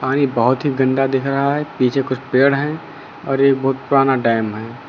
और ये बहोत ही गंदा दिख रहा है पीछे कुछ पेड़ है और ये बहोत पुराना डैम है।